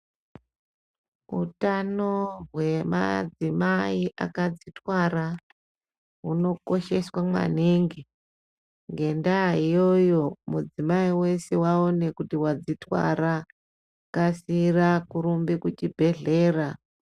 Utano hwemadzimai akazvitwara hunokosheswa maningi ngendaa iyoyo mudzimai weshe waona kuti wakadzitwara kasira kurumba kuchibhedhlera.